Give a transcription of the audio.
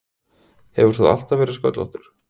Hefur þú alltaf verið sköllóttur?